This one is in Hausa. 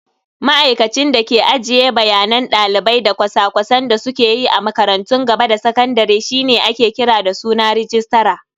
Ma'aikacin da ke ajiye bayanan dalibai da cosa-cosan da suke yi a makarantun gaba da sakandare shine ake kira da suna "Registra".